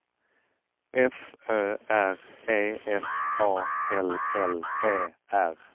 F Ö R E F A L L E R